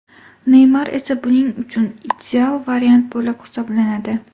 Neymar esa buning uchun ideal variant bo‘lib hisoblanadi.